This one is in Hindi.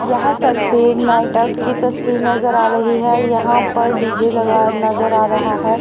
यह तस्वीर नाइट आउट की तस्वीर नजर आ रही है यहां पर डी_जे लगा नजर आ रहा है।